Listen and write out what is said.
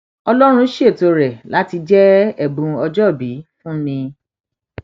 ọlọrun ṣètò rẹ láti jẹ ẹbùn ọjọòbí fún mi